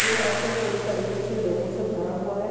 यह ऑटो पूरी तरीके से लोगो से भरा हुआ है।